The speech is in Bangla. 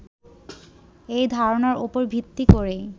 এই ধারণার উপর ভিত্তি করেই